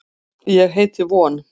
Ég heiti von.